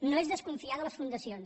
no és desconfiar de les fundacions